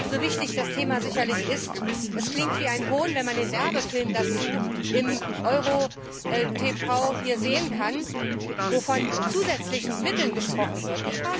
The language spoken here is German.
So wichtig das Thema sicherlich ist, es klingt wie ein Hohn, wenn man den Werbefilm dazu im EuroparlTV hier sehen kann, wo von zusätzlichen Mitteln gesprochen wird.